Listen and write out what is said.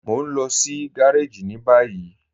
Mọ̀ n lọ sí gàràjì ni bayí